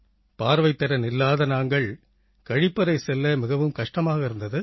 பார்வைத்திறன் இல்லாத நாங்கள் கழிப்பறை செல்ல மிகவும் கஷ்டமாக இருந்தது